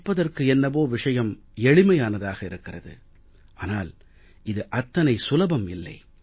கேட்பதற்கு என்னவோ விஷயம் எளிமையானதாக இருக்கிறது ஆனால் இது அத்தனை சுலபம் இல்லை